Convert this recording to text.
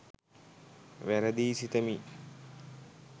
වැරදියි සිතමි